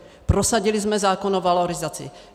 Prosadili jsme zákon o valorizaci.